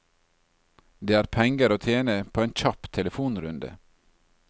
Det er penger å tjene på en kjapp telefonrunde.